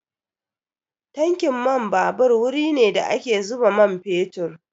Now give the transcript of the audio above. Tankin man babur wuri ne da ake zuba man fetur.